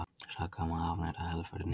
Sakaður um að afneita helförinni